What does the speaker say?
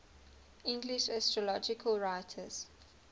english astrological writers